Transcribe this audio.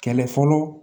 Kɛlɛ fɔlɔ